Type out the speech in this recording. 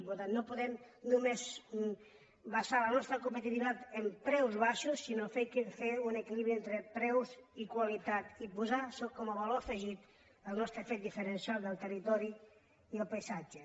per tant no podem només basar la nostra competitivitat en preus baixos sinó fer un equilibri entre preus i qualitat i posar com a valor afegit el nostre fet diferencial del territori i el paisatge